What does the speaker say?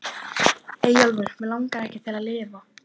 Eyjólfur Mig langaði ekki til að lifa.